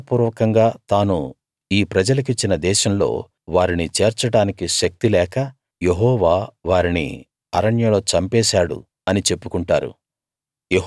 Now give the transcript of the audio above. ప్రమాణ పూర్వకంగా తాను ఈ ప్రజలకిచ్చిన దేశంలో వారినిచేర్చడానికి శక్తిలేక యెహోవా వారిని అరణ్యంలో చంపేశాడు అని చెప్పుకుంటారు